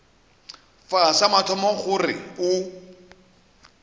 fa sa mathomo gore o